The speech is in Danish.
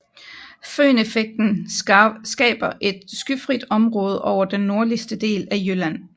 Føneffekten skaber et skyfrit område over den nordligste del af jylland